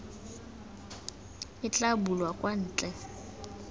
e tla bulwang kwa ntle